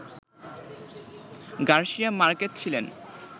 Garcia Marquez ছিলেন